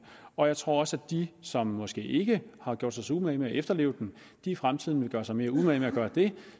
og jeg tror også at de som måske ikke har gjort sig så meget umage med at efterleve den i fremtiden vil gøre sig mere umage med at gøre det